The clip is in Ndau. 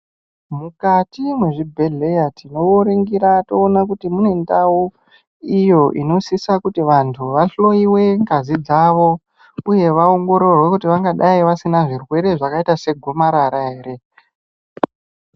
Mukati mezvibhedhlera tinoningira toona kuti mune ndau iyo inoita kuti vantu vahloiwe ngazi dzawo uye vaongororwe kuti vangadai vasina zvirwere zvakaita segomarara ere.